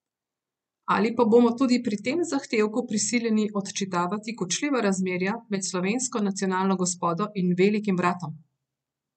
Ali pa bomo tudi pri tem zahtevku prisiljeni odčitavati kočljiva razmerja med slovensko nacionalno gospodo in Velikim bratom?